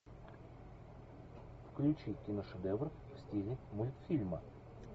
включи киношедевр в стиле мультфильма